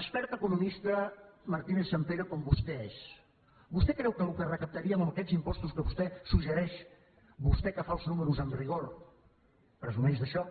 experta economista martínez sampere com vostè és vostè creu que el que recaptaríem amb aquests impostos que vostè suggereix vostè que fa els números amb rigor presumeix d’això